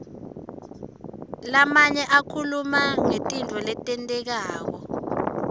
lamanye akhuluma ngetintfo letentekako